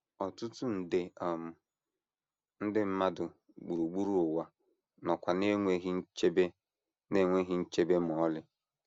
Ọtụtụ nde um ndị mmadụ gburugburu ụwa nọkwa n’enweghị nchebe n’enweghị nchebe ma ọlị.